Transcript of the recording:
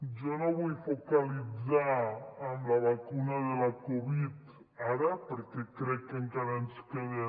jo no vull focalitzar en la vacuna de la covid ara perquè crec que encara ens queden